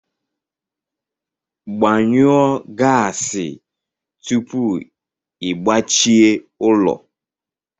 Gbanyụọ gaasị tupu ị gbachie ụlọ!